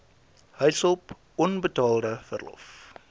huishulp onbetaalde verlof